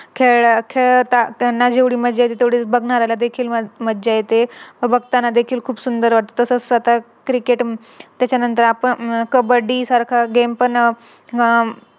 खेळला खेळताना जेवढी मज्जा येते तेवढीच बघणाऱ्याला देखील मज्जा येते. बघताना देखील खूप सुंदर वाटत. तसच Cricket त्याच्यानंतर आपण कब्बडी सारखा Game पण हम्म